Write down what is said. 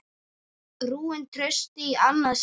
Rúin trausti í annað sinn.